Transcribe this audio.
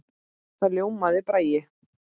Þá ljómaði Bragi.